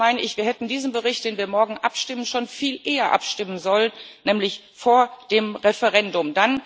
Und eigentlich meine ich, wir hätten über diesen Bericht, über den wir morgen abstimmen, schon viel eher abstimmen sollen, nämlich vor dem Referendum.